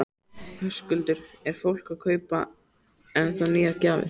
Höskuldur: Er fólk að kaupa ennþá nýjar gjafir?